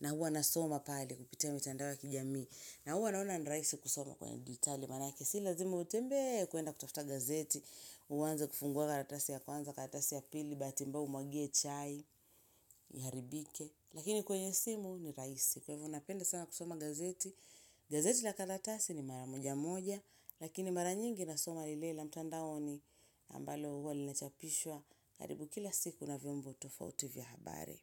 Na huwa nasoma pale kupitia mitandao ya kijamii. Na huwa naona ni rahisi kusoma kwenye dijitali manake si lazima utembee kuenda kutafuta gazeti uanze kufungua karatasi ya kwanza, karatasi ya pili bahati mbaya umwagie chai, iharibike. Lakini kwenye simu ni rahisi kwa hivyo napenda sana kusoma gazeti. Gazeti la karatasi ni mara moja moja Lakini mara nyingi nasoma lile la mtandaoni ambalo huwa linachapishwa karibu kila siku na vyombo tofauti vya habari.